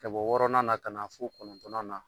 Ka bɔ wɔɔrɔnan ka na fo kɔnɔntɔn na